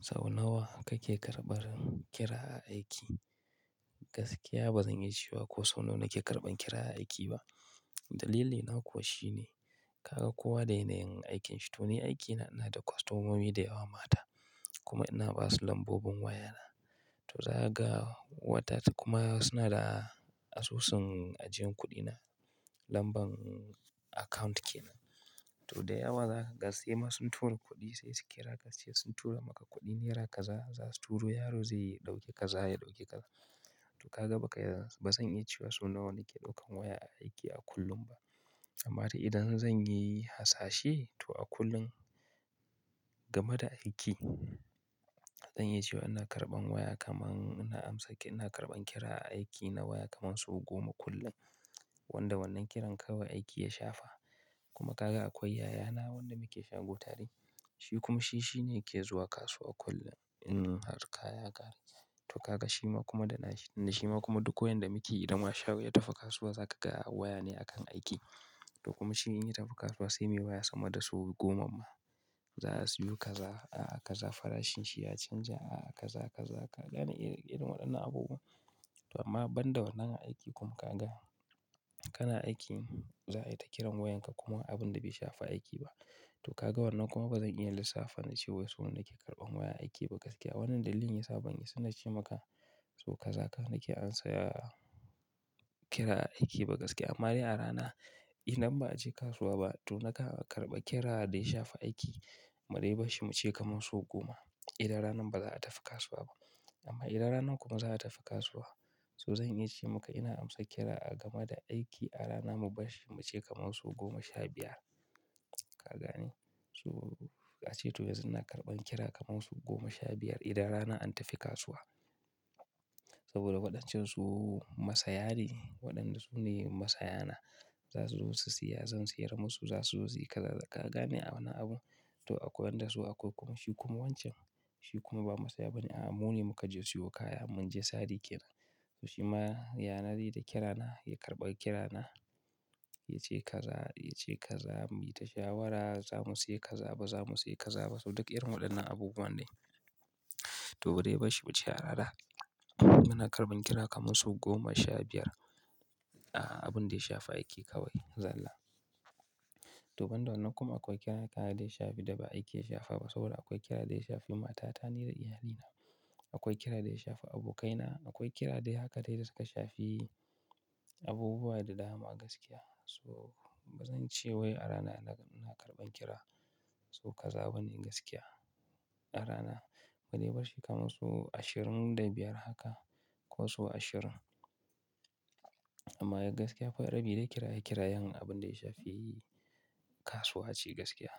Sau nawa kake karɓan kira a aiki? Gaskiya ba zan iya cewa ko sau nawa nake karɓan kira a aiki ba. Dalilina kuwa shine kaga kowa da yanayin aikinshi. To, ni aikina ina da kwastomomi da yawa mata kuma ina ba su lambobin wayana. To, za ka ga wata kuma suna da asusun ajiyan kuɗina, lamban account kenan. To, da yawa za ka ga sai ma sun tura kuɗi sai su kira ka suce sun tura maka kuɗi naira kaza, za su turo yaro zai ɗauki kaza ya ɗauki kaza. To, ka ga ba ka iya ba zan iya cewa sau nawa nake ɗaukan waya a aiki a kullum ba. Amma to idan zan yi hasashe to a kullum game da aiki, zan iya cewa ina karɓan waya kamar ina amsa ina karɓan kira a aiki na waya kamar sau goma kullum wanda wannan kiran kawai aiki ya shafa. Kuma ka ga akwai yaya na wanda muke shango tare, shi kuma shi shine yake zuwa kasuwa kullum in har kaya ya kare. To, ka ga shi ma kuma da na shi da shi ma kuma duk koyanda muke idan ma shaho ya tafi kasuwa za ka ga waya ne a kan aiki. To, kuma shi in ya tafi kasuwa sai me waya sama da sau goma ma za a siyo kaza, a'a kaza farashin shi ya canja a'a kaza, kaza ka gane irin waɗannan abubuwa. To, amma banda wannan aiki kuma ka ga kana aiki za a yi ta kiran wayanka kuma abun da bai shafi aiki ba. To, ka ga wannan kuma ba zan iya lissafa na cewa so nawa nake karɓan waya aiki ba gaskiya. Wannan dalilin yasa ban isa nace maka so kaza nake ansa, kira nike ba gaskiya amma dai a rana idan ba a je kasuwa ba to naka karɓa kira dai shafi aiki, mu dai bashi mu ce kamar sau goma idan ranan ba za'a tafi kasuwa ba. Amma idan rana kuma za a tafi kasuwa, so zan iya ce maka ina amsa kira a game da aiki a rana mu bashi mu ce kamar sau goma sha biyar. Ka gane? So a ce to yanzu ina karɓan kira kamar sau goma sha biyar idan rana an tafi kasuwa. Saboda waɗancan su masaya ne, waɗanda su ne masayana. Za su zo su saya, zan sayar musu, za su zo su yi kaza, ka gane a wane abu? To, a koyan da su a kurkuku. Shi kuma wancan shi kuma ba masaya ba ne. A'a, mu ne muka je siyo kaya mun je sari ke nan. To, shi ma yana re da kirana ya karɓa kirana ya ce kaza, ya ce kaza, mu yi ta shawara za mu sayi kaza ba, za mu sayi kaza ba. So duk irin waɗannan abubuwa ne. To mudai bashi muce a rana, muna karban kira kaman sau goma sha biyar a abinda ya shafi aiki kawai zallah to, banda wannan kuma akwai kira da ya shafi da ba aiki ya shafa ba saboda akwai kira dai shafi matata ne da iyalina. Akwai kira dai shafi abokaina, akwai kira dai haka dai da suka shafi abubuwa da dama gaskiya. So ba zan ce wai a rana ina karɓan kira so kaza ba ne gaskiya. A rana ma dai bashi kamar sau ashirin da biyar haka ko sau ashirin. Amma ga gaskiya akwai rabi dai kira ya kira yan abin dai shafi kasuwa ce gaskiya.